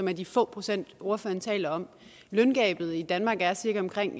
er de få procent ordføreren taler om løngabet i danmark er cirka omkring